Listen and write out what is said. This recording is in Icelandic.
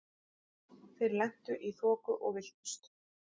Þeir lentu í þoku og villtust.